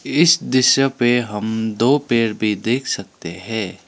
इस दृश्य पे हम दो पेड़ भी देख सकते है।